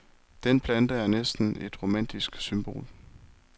Den plante er næsten et romantisk symbol.